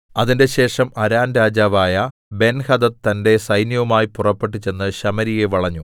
അതിന്‍റെശേഷം അരാം രാജാവായ ബെൻഹദദ് തന്റെ സൈന്യവുമായി പുറപ്പെട്ടു ചെന്ന് ശമര്യയെ വളഞ്ഞു